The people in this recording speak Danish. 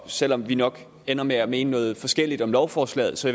selv om vi nok ender med at mene noget forskelligt om lovforslaget så